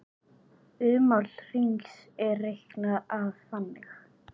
Ummál hrings er reiknað þannig